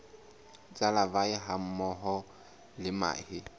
tsa larvae hammoho le mahe